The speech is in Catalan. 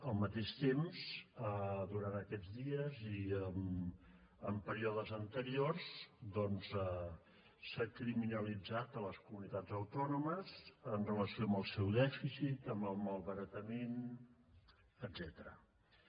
al mateix temps durant aquests dies i en períodes anteriors s’ha criminalitzat les comunitats autònomes en relació amb el seu dèficit amb el malbaratament etcètera